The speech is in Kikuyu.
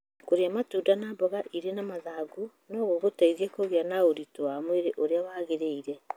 Kũrĩa matunda na mboga irĩ na mathangũ no gũgũteithie kũgĩa na ũritũ wa mwĩrĩ ũrĩa wagĩrĩire.